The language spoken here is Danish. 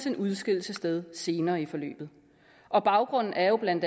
en udskillelse sted senere i forløbet og baggrunden er jo bla